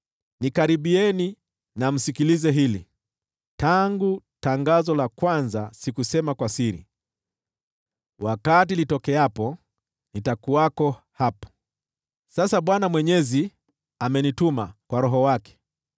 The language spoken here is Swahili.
“Nikaribieni na msikilize hili: “Tangu tangazo la kwanza sikusema kwa siri; wakati litokeapo, nitakuwako hapo.” Sasa Bwana Mwenyezi amenituma, kwa Roho wake.